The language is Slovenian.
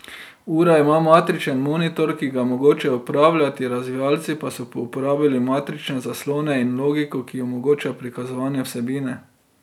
Ura ima matričen monitor, ki ga je mogoče upravljati, razvijalci pa so uporabili matrične zaslone in logiko, ki omogoča prikazovanje vsebine.